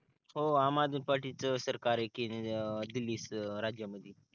हो, आम आदमी पार्टी च सरकार आहे कि दिल्ली राज्यामधी